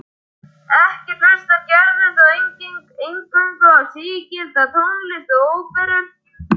Ekki hlustar Gerður þó eingöngu á sígilda tónlist og óperur.